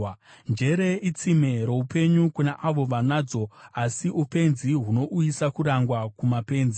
Njere itsime roupenyu kuna avo vanadzo, asi upenzi hunouyisa kurangwa kumapenzi.